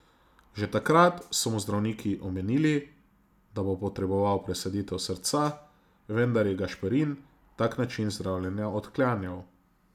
Že takrat so mu zdravniki omenili, da bo potreboval presaditev srca, vendar je Gašperin tak način zdravljenja odklanjal.